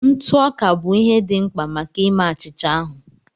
Ntụ ọka bụ ihe dị mkpa maka ime achịcha ahụ